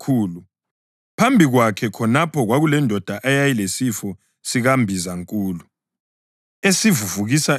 Phambi kwakhe khonapho kwakulendoda eyayilesifo sikambizankulu, esivuvukisa izitho.